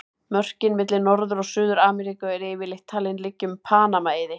Mörkin milli Norður- og Suður-Ameríku eru yfirleitt talin liggja um Panama-eiði.